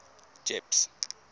jeppes